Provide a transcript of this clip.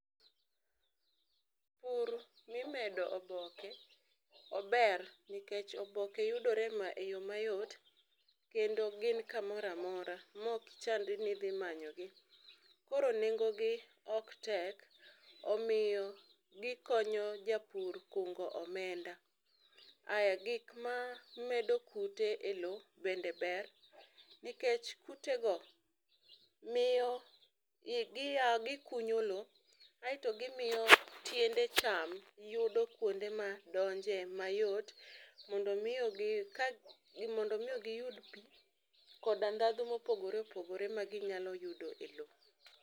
pur mimedo oboke ober nikech oboke yudore e yo mayot kendo gin kamoramora mok chandi nidhi manyogi. Koro nengo gi ok tek omiyo gikonyo japur kungo omenda .Ae gik mamedo kute e lowo bende ber, nikech kutego miyo giya gikunyo lowo aeto gimiyo tiende cham yudo kuonde ma donje mayot mondo miyo gi ka mondo miyo giyud pii koda ndadhu mopogore opogore ma ginya yudo e lowo .